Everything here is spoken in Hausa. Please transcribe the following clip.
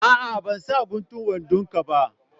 A'a ban sa guntun wandon ka ba.